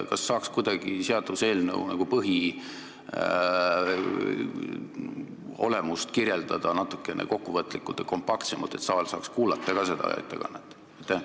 Kas saaks kuidagi seaduseelnõu põhiolemust kirjeldada natukene kokkuvõtlikumalt ja kompaktsemalt, et saal saaks seda ettekannet kuulata ka?